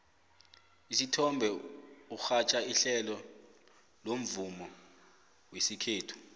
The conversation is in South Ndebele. usithombe urhatjha ihlelo lomvumo wesikhethu